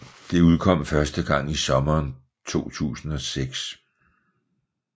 Det udkom første gang i sommeren 2006